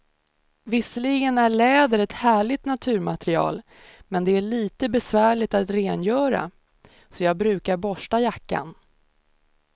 Visserligen är läder ett härligt naturmaterial, men det är lite besvärligt att rengöra, så jag brukar borsta jackan.